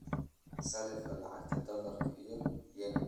sarrifka lacagta dollarka iyo yen